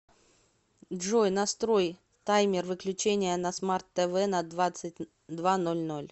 джой настрой таймер выключения на смарт тв на двадцать два ноль ноль